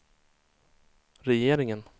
regeringen